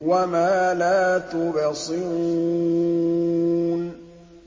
وَمَا لَا تُبْصِرُونَ